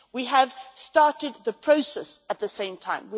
We started the process at the same time.